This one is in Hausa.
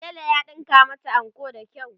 tela ya ɗinka mata anko da kyau.